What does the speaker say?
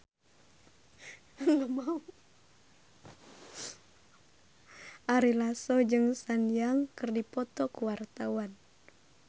Ari Lasso jeung Sun Yang keur dipoto ku wartawan